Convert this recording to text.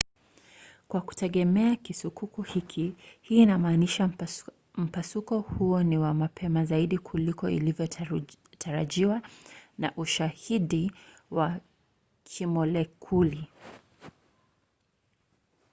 "kwa kutegemea kisukuku hiki hii inamaanisha mpasuko huo ni wa mapema zaidi kuliko ilivyotarajiwa na ushahidi wa kimolekuli